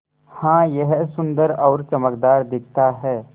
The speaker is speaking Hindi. हाँ यह सुन्दर और चमकदार दिखता है